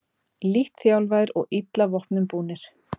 Lítt þjálfaðir og illa vopnum búnir